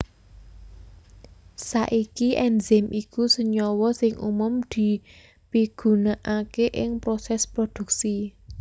Saiki enzim iku senyawa sing umum dipigunaaké ing prosès prodhuksi